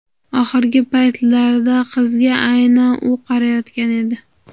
Oxirgi paytlarda qizga aynan u qarayotgan edi.